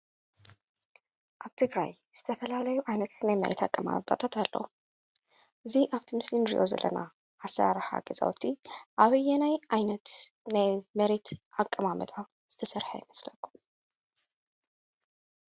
እዞም አብ ምስሊ እንሪኦም ዘለና ሰለስተ ናይ ሓደ ስድራ ቤት አባላት ዝኮኑ እንትኮኑ፤ አብ ዝተፈላለየ ናይ ስራሕ ቦታ ዊዒሎም ገዝኦም እንትምለሱ እንትኾን፤ አበየናይ ከባቢ ኸ ይርከቡ? አብ ትግራይ ዝተፈላለዩ ዓይነት ናይ መሬት አቀማምጣታታት አለው፡፡ እዚ አብቲ ምስሊ እንሪኦ ዘለና አሰራርሓ ገዛውቲ አበየናይ ዓይነት ናይ መሬት አቀማምጣ ዝተሰርሐ ይመስለኩም?